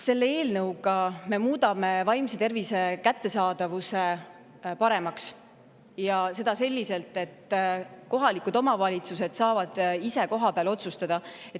Selle eelnõuga me muudame vaimse tervise kättesaadavuse paremaks ja seda selliselt, et kohalikud omavalitsused saavad ise kohapeal otsustada.